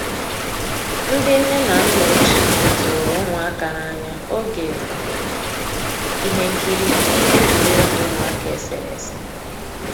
Ndị́ nnè ná nná òchíé tụ̀rụ̀ ụmụ́àká n'ànyá ògé íhé nkírí íhé égwurégwu ụmụ́àká éséréésé.